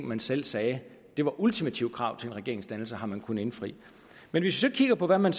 man selv sagde var ultimative krav til en regeringsdannelse har man kunnet indfri men hvis vi kigger på hvad man